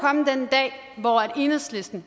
i hvor enhedslisten